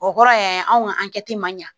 O kɔrɔ ye anw ka ma ɲa